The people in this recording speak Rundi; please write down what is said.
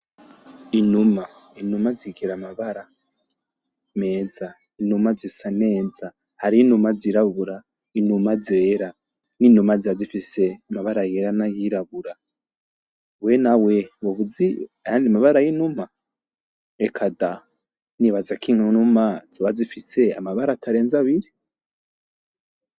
Inuma, inuma zigira amabara meza, inuma zisa neza. Hari n'inuma zirabura n'inuma zera kandi inuma ziba zifise amabara yera n'ayirabura, we nawe wobuzi ayandi mabara yinuma reka da nibazako inuma zoba zifise amabara atarenze abiri.